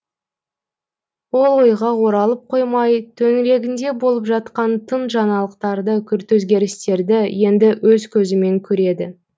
ол ойға оралып қоймай төңірегінде болып жатқан тың жаңалықтарды күрт өзгерістерді енді өз көзімен көреді